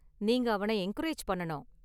நீங்கள் அவன என்கரேஜ் பண்ணனும்.